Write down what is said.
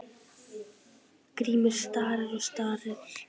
Grímur starir og starir.